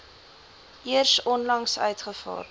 eers onlangs uitgevaardig